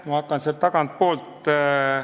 Ma hakkan tagantpoolt peale.